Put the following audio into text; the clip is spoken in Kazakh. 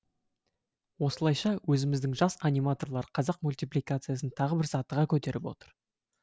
осылайша өзіміздің жас аниматорлар қазақ мультипликациясын тағы бір сатыға көтеріп отыр